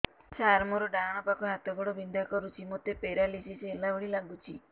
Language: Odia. ସାର ମୋର ଡାହାଣ ପାଖ ହାତ ଗୋଡ଼ ବିନ୍ଧା କରୁଛି ମୋତେ ପେରାଲିଶିଶ ହେଲା ଭଳି ଲାଗୁଛି